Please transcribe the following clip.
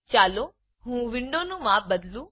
ચાલો હું વિન્ડોનું માપ બદલું